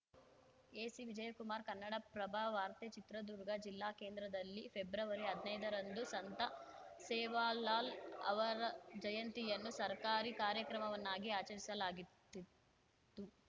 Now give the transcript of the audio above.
AC Vijayakumar Kannadaprabha ವಾರ್ತೆ ಚಿತ್ರದುರ್ಗ ಜಿಲ್ಲಾ ಕೇಂದ್ರದಲ್ಲಿ ಫೆಬ್ರವರಿಹದ್ನೈದರಂದು ಸಂತ ಸೇವಾಲಾಲ್‌ ಅವರಜಯಂತಿಯನ್ನು ಸರ್ಕಾರಿ ಕಾರ್ಯಕ್ರಮವನ್ನಾಗಿ ಆಚರಿಸಲಾಗತ್ತಿತ್ತು